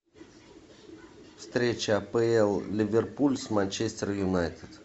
встреча апл ливерпуль с манчестер юнайтед